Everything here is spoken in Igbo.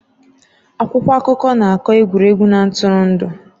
Akwụkwọ akụkọ na-akọ egwuregwu na ntụrụndụ